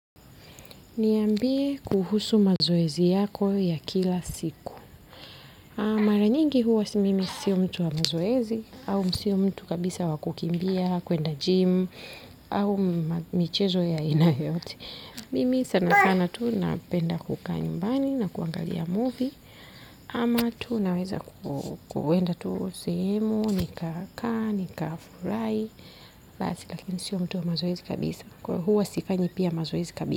Niambie kuhusu mazoezi yako ya kila siku. Mara nyingi huwa mimi si mtu wa mazoezi au si mtu kabisa wa kukimbia, kwenda gym. Au michezo ya aina yoyote. Mimi sana sana tu napenda kukaa nyumbani na kuangalia movie ama naweza kwenda tu sehemu, nikakaa, nikafurahi. Basi lakini sio mtu wa mazoezi kabisa huwa sifanyi pia mazoezi kabisa.